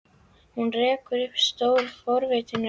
Hún rekur upp stór, forvitin augu.